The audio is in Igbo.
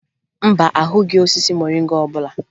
Mba, ahụghị osisi moringa ọbụla